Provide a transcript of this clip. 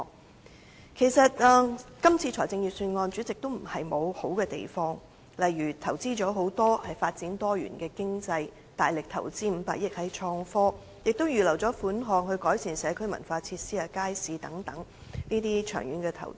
代理主席，其實這份預算案也並非沒有優點，例如在發展多元經濟方面投入了很多、大力投資500億元在創新科技方面，亦預留了款項，作為改善社區文化設施和街市的長遠投資。